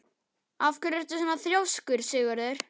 Af hverju ertu svona þrjóskur, Sigurður?